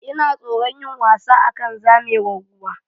Ina tsoron yin wasa akan zamewar ruwa.